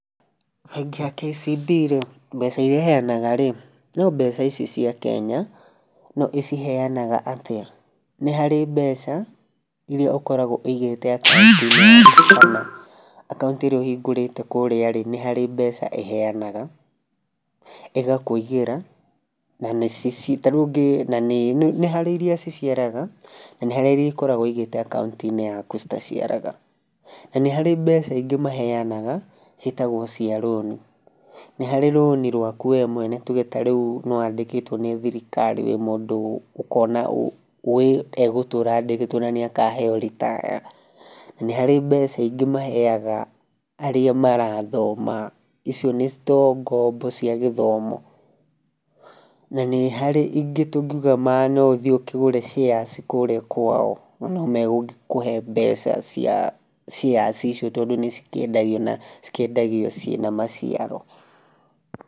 Bengi ya KCB rĩ mbeca iria ĩhenaga rĩ no mbeca ici cia Kenya no ĩciheanaga atĩa? Nĩ harĩ mbeca iria ũkoragwo ũigĩte akaũnti-inĩ yaku kana akaũnti ĩrĩa ũhingũrĩte kũria rĩ nĩ harĩ mbeca ĩheanaga ĩgakũigĩra na nĩcio ci tarĩu nĩ harĩ iria ciciaraga na nĩ harĩ iria ũkoragwo wigite akaũnti yaku citaciaraga. Na nĩ harĩ mbeca ingĩ maheanaga ciĩtagwo cia rũni nĩ harĩ ta rũni rwaku wee mwene tuge tarĩu nĩ wandĩkĩtwo nĩ thirikari wĩ mũndũ ũkona we egũtũra andĩkĩtwo na nĩ akaheo ritaya. Na nĩ harĩ mbeca ingĩ maheaga arĩa marathoma icio nĩ ta ngombo cia gĩthomo. Na nĩ harĩ ingĩ tũngiuga na no ũthiĩ ũkĩgũre shares kũrĩa kwao na no megũkũhe mbeca cia shares icio tondũ nĩ cikĩendagio na cikĩendagio ciĩna maciaro.